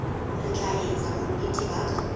re tla etsa bonnete ba